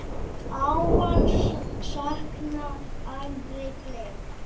Ávallt saknað, aldrei gleymd.